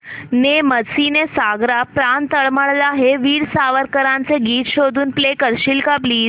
ने मजसी ने सागरा प्राण तळमळला हे वीर सावरकरांचे गीत शोधून प्ले करशील का प्लीज